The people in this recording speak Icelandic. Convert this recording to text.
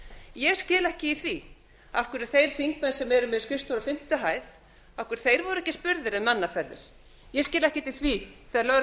ég skil ekki í því af hverju þeir þingmenn sem eru með skrifstofur á fimmtu hæð voru ekki spurðir um mannaferðir ég skil ekkert í því þegar lögreglan